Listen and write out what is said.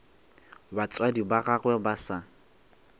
batswadi ba gagwe ba sa